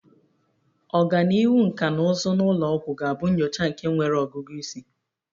Ọganihu nkà na ụzụ na ụlọ ọgwụ ga-abụ nyocha nke nwere ọgụgụ isi.